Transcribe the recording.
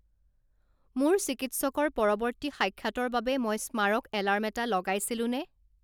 মোৰ চিকিৎসকৰ পৰৱৰ্তী সাক্ষাতৰ বাবে মই স্মাৰক এলাৰ্ম এটা লগাইছিলোনে